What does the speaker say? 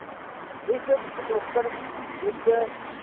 ਇਸ ਪਿਛੋਕੜ ਵਿੱਚ